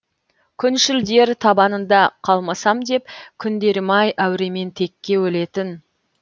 күншілдер табанында қалмасам деп күндерім ай әуремен текке өлетін